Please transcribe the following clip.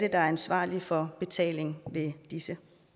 er ansvarlig for betaling ved disse